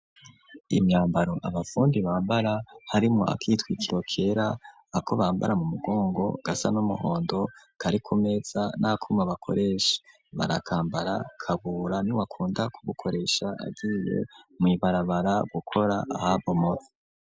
Imyambaro abafundi bambara harimo akitwaikiro kera ako bambara mu mugongo gasa n'umuhondo kari kumeza naku mabakoresha barakambara. Kabura ni wakunda kubukoresha agiye mu ibarabara gukora ahabomotse.